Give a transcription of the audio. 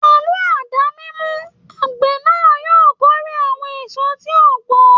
Pẹ̀lú àdá mímú, àgbè náà yóò kórè àwọn èso tí ó gbó.